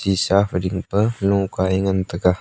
shisa phai ding pe lokae ngan te ga.